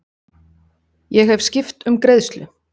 Ég hef skipt um greiðslu.